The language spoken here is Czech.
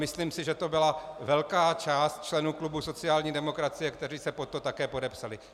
Myslím si, že to byla velká část členů klubu sociální demokracie, kteří se pod to také podepsali.